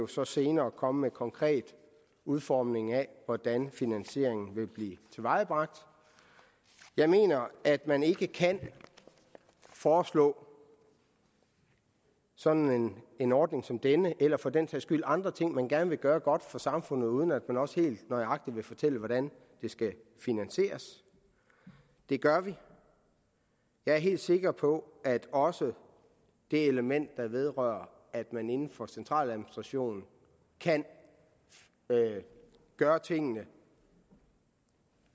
så senere komme med en konkret udformning af hvordan finansieringen vil blive tilvejebragt jeg mener at man ikke kan foreslå sådan en ordning som denne eller for den sags skyld andre ting man gerne vil gøre godt for samfundet uden at man også helt nøjagtigt vil fortælle hvordan det skal finansieres og det gør vi jeg er helt sikker på at også det element der vedrører at man inden for centraladministrationen kan gøre tingene